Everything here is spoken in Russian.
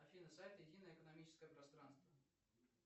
афина сайт единое экономическое пространство